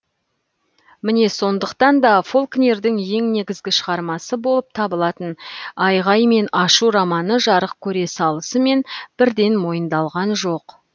міне сондықтан да фолкнердің ең негізгі шығармасы болып табылатын айғай мен ашу романы жарық көре салысымен бірден мойындалған жоқ